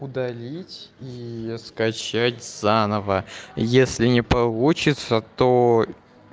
удалить и скачать заново если не получится то